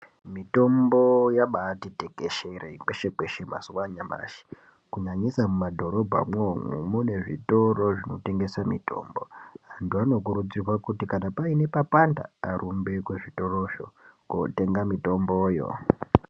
Mitombo yabati tekeshere kweshe-kweshe mazuva anyamashi, kunyanyisa muma dhorobha mwomwo mune zvitoro zvinotengese mitombo. Antu anokurudzirwa kuti kana paine papanda arumbe kuzvi torozvo kotenga mitomboyo.